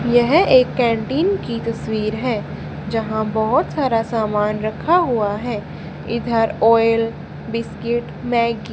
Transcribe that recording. यह एक कैंटीन की तस्वीर है जहां बहोत सारा सामान रखा हुआ है इधर ऑयल बिस्कुट मैगी --